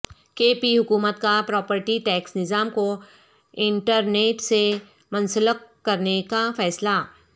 کے پی حکومت کا پراپرٹی ٹیکس نظام کو انٹرنیٹ سے منسلک کرنے کا فیصلہ